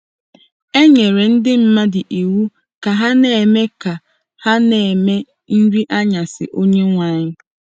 E nyere ndị mmadụ iwu ka ha na-eme ka ha na-eme Nri Anyasị Onyenwe Anyị.